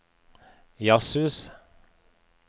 jazzhus